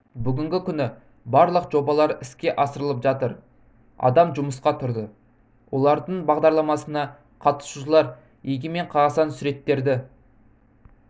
бүгінгі күні барлық жобалар іске асырылып жатыр адам жұмысқа тұрды олардың бағдарламасына қатысушылар егемен қазақстан суреттерді